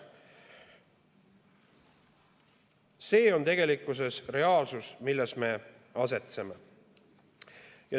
See on reaalsus, kus me asetseme.